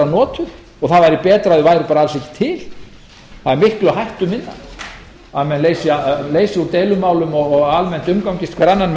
notuð og það væri betra að þeir væru alls ekki til og það er miklu hættuminna að menn leysi úr deilumálum og almennt umgangist grunninn með